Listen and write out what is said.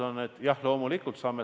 Indrek Saar, palun!